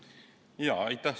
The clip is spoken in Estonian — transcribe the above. Aitäh!